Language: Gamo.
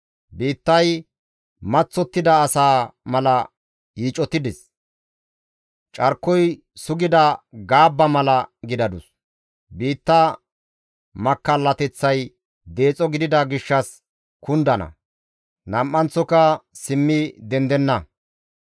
Biittay maththottida asa mala yiicotides; carkoy sugida gaabba mala gidadus. Biitta makkallateththay deexo gidida gishshas kundana; nam7anththoka simmi dendenna.